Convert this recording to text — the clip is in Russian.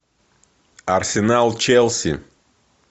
арсенал челси